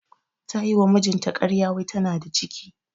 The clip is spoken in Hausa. Ta yi wa mijinta ƙarya wai tana da ciki.